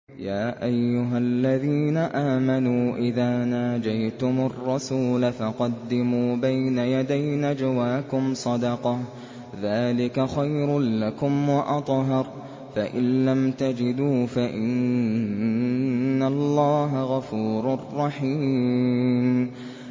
يَا أَيُّهَا الَّذِينَ آمَنُوا إِذَا نَاجَيْتُمُ الرَّسُولَ فَقَدِّمُوا بَيْنَ يَدَيْ نَجْوَاكُمْ صَدَقَةً ۚ ذَٰلِكَ خَيْرٌ لَّكُمْ وَأَطْهَرُ ۚ فَإِن لَّمْ تَجِدُوا فَإِنَّ اللَّهَ غَفُورٌ رَّحِيمٌ